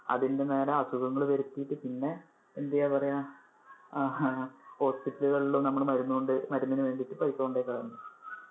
അതിന്‍ടെ മേലെ അസുഖങ്ങൾ വരുത്തിട്ട്, പിന്നെ എന്താ പറയാം അഹ് hospital കളും നമ്മള് മരു~മരുന്നിനു വേണ്ടിട്ട് പൈസ കോണ്ടകളയും.